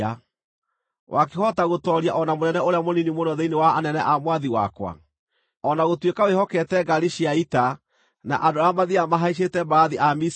Wakĩhota gũtooria o na mũnene ũrĩa mũnini mũno thĩinĩ wa anene a mwathi wakwa, o na gũtuĩka wĩhokete ngaari cia ita na andũ arĩa mathiiaga mahaicĩte mbarathi a Misiri?